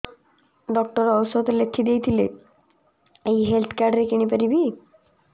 doctor ଔଷଧ ଲେଖିଦେଇଥିଲେ ଏଇ ହେଲ୍ଥ କାର୍ଡ ରେ କିଣିପାରିବି